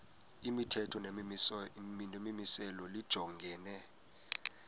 imithetho nemimiselo lijongene